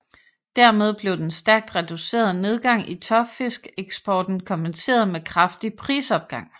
Dermed blev den stærkt reducerede nedgang i tørfiskeksporten kompenseret med kraftig prisopgang